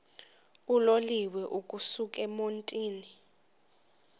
uloliwe ukusuk emontini